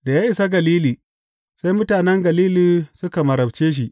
Da ya isa Galili, sai mutanen Galili suka marabce shi.